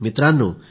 मित्रांनो